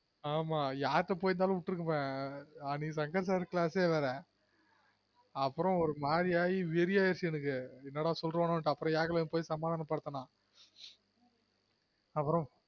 ஆமா யார்ட்ட போய்ருந்தலும் விட்டுருப்பன் அன்னைக்கு சங்கர் sir class ஏ வேற அப்புறம் ஒரு மாரி ஆயி வெறி அகிடுச்சி எனக்கு என்னட சொல்லுவனொனுட்டு அப்புறம் யாகுலன் போய் சமாதான படுத்துனான்